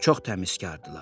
Çox təmizkardılar.